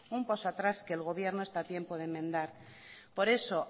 un paso atrás que el gobierno está a tiempo de enmendar por eso